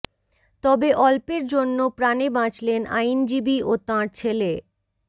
তবে অল্পের জন্য প্রাণে বাঁচলেন আইনজীবী ও তাঁর ছেলে